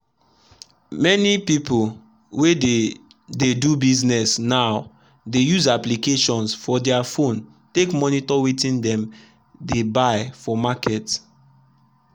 many people wey dey dey do business nowdey use applications for their phone take monitor wetin dem they buy for market.